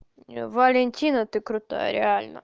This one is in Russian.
валентина ты крутая реально